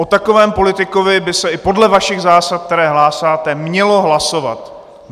O takovém politikovi by se i podle vašich zásad, které hlásáte, mělo hlasovat.